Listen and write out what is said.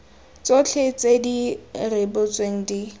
tsotlhe tse di rebotsweng di